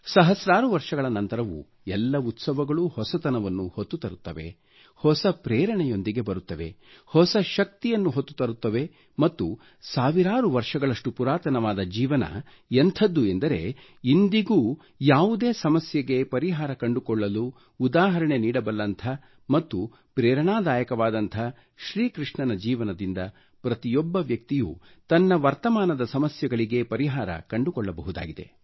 ಸಹಸ್ರಾರು ವರ್ಷಗಳ ನಂತರವೂ ಎಲ್ಲ ಉತ್ಸವಗಳೂ ಹೊಸತನವನ್ನು ಹೊತ್ತು ತರುತ್ತವೆ ಹೊಸ ಪ್ರೇರಣೆಯೊಂದಿಗೆ ಬರುತ್ತವೆ ಹೊಸ ಶಕ್ತಿಯನ್ನು ಹೊತ್ತು ತರುತ್ತವೆ ಮತ್ತು ಸಾವಿರಾರು ವರ್ಷಗಳಷ್ಟು ಪುರಾತನವಾದ ಜೀವನ ಎಂಥದ್ದು ಎಂದರೆ ಇಂದಿಗೂ ಯಾವುದೇ ಸಮಸ್ಯೆಗೆ ಪರಿಹಾರ ಕಂಡುಕೊಳ್ಳಲು ಉದಾಹರಣೆ ನೀಡಬಲ್ಲಂಥ ಮತ್ತು ಪ್ರೇರಣಾದಾಯಕವಾದಂಥ ಶ್ರೀ ಕೃಷ್ಣನ ಜೀವನದಿಂದ ಪ್ರತಿಯೊಬ್ಬ ವ್ಯಕ್ತಿಯು ತನ್ನ ವರ್ತಮಾನದ ಸಮಸ್ಯೆಗಳಿಗೆ ಪರಿಹಾರ ಕಂಡುಕೊಳ್ಳಬಹುದಾಗಿದೆ